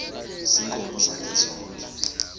ziinkomo zakhe zonke